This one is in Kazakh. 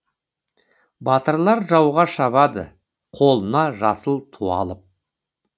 батырлар жауға шабады қолына жасыл ту алып